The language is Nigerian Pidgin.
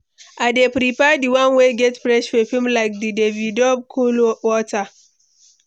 I dey prefer di one wey get fresh perfume, like di Davidoff Cool Water.